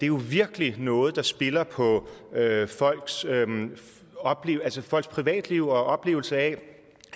jo virkelig noget der spiller på folks privatliv og oplevelse af